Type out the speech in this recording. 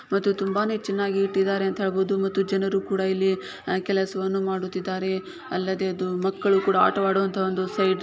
ಮತ್ತು ತುಂಬಾನೇ ಚೆನ್ನಾಗಿ ಇಟ್ಟಿದ್ದಾರೆ ಅಂತ ಹೇಳಬಹುದು ಮತ್ತು ಜನರು ಕೂಡ ಇಲ್ಲಿ ಆಹ್ ಕೆಲಸವನ್ನು ಮಾಡುತ್ತಿದ್ದಾರೆ ಅಲ್ಲದೆ ಅದು ಮಕ್ಕಳು ಕೂಡ ಆಟ ಆಡುವಂತಹ ಒಂದು ಸೈಡ್ --